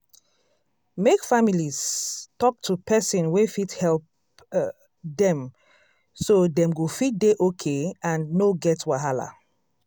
make families talk to person wey fit help dem so dem go fit dey okay and no get wahala.